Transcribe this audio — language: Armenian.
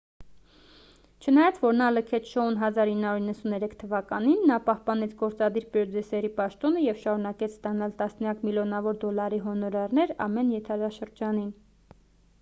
չնայած որ նա լքեց շոուն 1993 թվականին նա պահպանեց գործադիր պրոդյուսերի պաշտոնը և շարունակեց ստանալ տասնյակ միլիոնավոր դոլարի հոնորարներ ամեն եթերաշրջանին